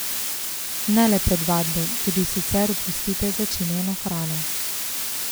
Ne le pred vadbo, tudi sicer opustite začinjeno hrano.